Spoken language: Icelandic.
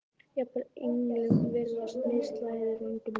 Jafnvel englum virðast mislagðir vængir um margt